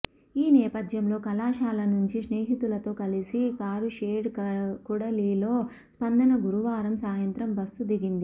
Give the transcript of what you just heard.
ఈ నేపథ్యంలో కళాశాల నుంచి స్నేహితులతో కలిసి కారుషెడ్ కూడలిలో స్పందన గురువారం సాయంత్రం బస్సు దిగింది